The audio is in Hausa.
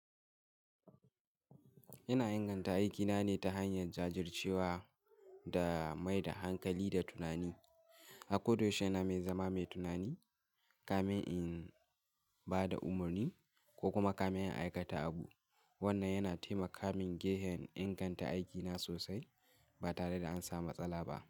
Ina inganta aikina ne ta hanyar jajircewa da mai da hankali da tunani. Akoda yaushe ina mai zama mai tunani, kamen in ba da umarni ko kuma kamen in aikata abu. Wannan yana taimaka min gehen inganta aikina sosai ba tare da an samu matsala ba.